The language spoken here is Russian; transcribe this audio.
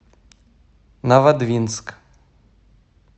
новодвинск